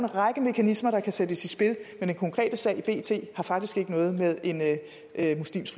række mekanismer der kan sættes i spil men den konkrete sag i bt har faktisk ikke noget med en muslimsk